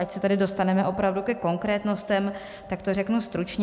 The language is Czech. Ať se tady dostaneme opravdu ke konkrétnostem, tak to řeknu stručně.